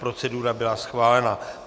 Procedura byla schválena.